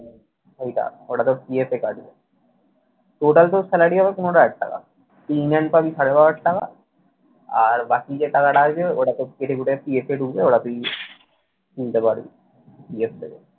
ওইটা ওটা তোর PF এ কাটবে। total তোর salary হবে পনেরো হাজার টাকা। তুই in hand পাবি সাড়ে বারো হাজার টাকা, আর বাকি যে টাকাটা আসবে ওটা তোর কেটেকুটে PF এ ঢুকবে। ওটা তুই নিতে পারবি PF থেকে।